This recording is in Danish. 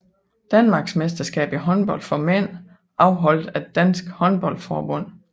Danmarksmesterskab i håndbold for mænd afholdt af Dansk Håndbold Forbund